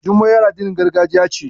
Jummai ƴar addinin gargajiya ce.